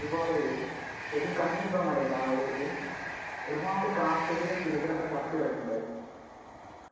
ഒരുപാട് എബിൻ കണ്ടിട്ടുണ്ടോ എന്ന് അറിയില്ല ആ ഒരു ഇത്. ഒരുപാട് കാക്കകളും, കിളികളും ഒക്കെ ചത്തുകിടക്കുന്നുണ്ടായിരുന്നു.